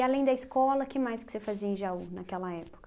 além da escola, que mais que você fazia em Jaú naquela época?